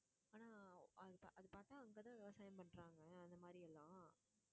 ஆனா, அது பா~ அது பார்த்தா அங்கதான் விவசாயம் பண்றாங்க. அந்த மாதிரி எல்லாம்